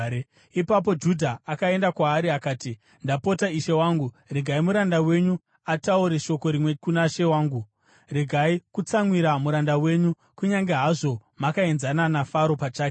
Ipapo Judha akaenda kwaari akati, “Ndapota, ishe wangu, regai muranda wenyu ataure shoko rimwe kuna she wangu. Regai kutsamwira muranda wenyu, kunyange hazvo makaenzana naFaro pachake.